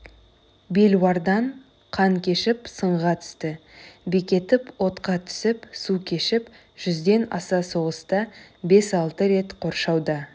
белуардан қан кешіп сынға түсті бекетіп отқа түсіп су кешіп жүзден аса соғыста бес-алты рет қоршауда